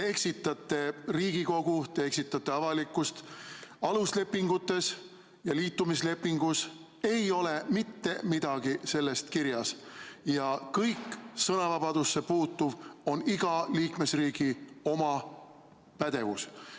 Te eksitate Riigikogu, te eksitate avalikkust – aluslepingutes ja liitumislepingus ei ole mitte midagi sellest kirjas, ja kõik sõnavabadusse puutuv on iga liikmesriigi enda pädevus.